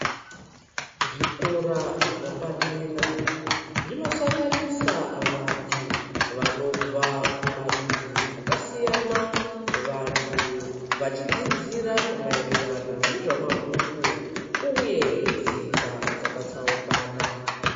Zvikora zvapadera zvinosangansa vanthu vanobva kumarudzi akasiyana. Vanthu vachidzidzira maererano nezvemabhuku uye tsika dzakatsaukana.